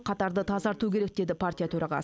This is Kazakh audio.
қатарды тазарту керек деді партия төрағасы